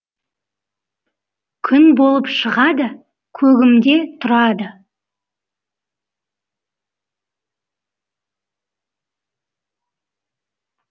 күн болып шығады көгімде тұрады